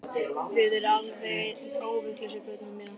Þið eruð alveg óvitlausir, pöddurnar mínar